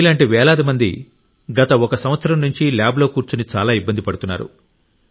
మీలాంటి వేలాది మంది గత ఒక సంవత్సరం నుండి ల్యాబ్లో కూర్చుని చాలా ఇబ్బంది పడుతున్నారు